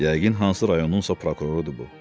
Yəqin hansı rayonunsa prokurorudur bu.